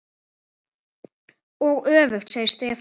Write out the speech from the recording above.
Og öfugt, segir Stefán.